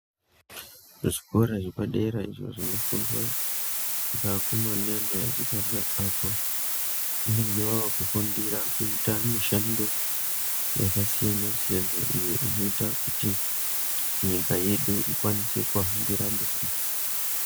Zvikora zvepadera izvo zvinofundwa, ngeakomana neasikana apo vanenge vavakufundira kuita mishando yakasiyana-siyana, iyo inoita kuti ,nyika yedu ikwanise kuhambira mberi.